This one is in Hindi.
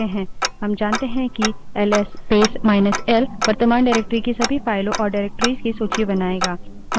हम क्या कर सकते हैं हम जानते हैं कि L S space minus L ls space minus l वर्तमान डाइरेक्टरी की सभी फाइलों और डाइरेक्टरिस निर्देशिकाओं की सूची बनाएगा